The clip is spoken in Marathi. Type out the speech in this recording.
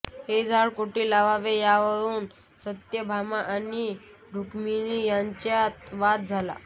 हे झाड कोठे लावावे यावरून सत्यभामा आणि रूक्मिणी यांच्यात वाद झाला